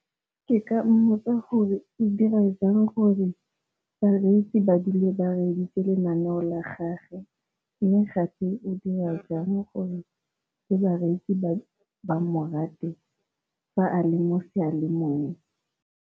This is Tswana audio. Ke ka mmotsa gore o dira jang gore bareetsi ba dule bareeditse lenaneo la gage, mme gape o dira jang gore le bareetsi ba ba mo rate fa a le mo sealemoyeng.